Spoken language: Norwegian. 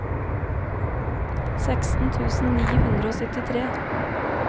seksten tusen ni hundre og syttitre